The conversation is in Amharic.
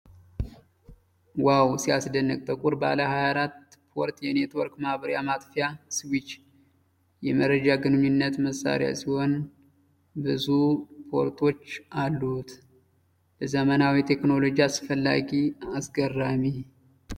ዋው ሲያስደንቅ ! ጥቁር ባለ 24-ፖርት የኔትወርክ ማብሪያ ማጥፊያ (ስዊች) ። የመረጃ ግንኙነት መሳሪያ ሲሆን ብዙ ፖርቶች አሉት ። ለዘመናዊ ቴክኖሎጂ አስፈላጊ! አስገራሚ!